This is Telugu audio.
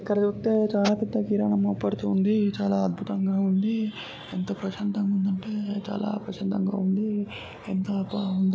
చూస్తే చాలా పెద్ద కిరాణా అమ్మబడుతుంది. చాలా అద్భుతంగా ఉంది. ప్రశాంతంగా ఉందంటే చాలా ప్రశాంతంగా ఉంది. ఎంత బాగుందో కదా.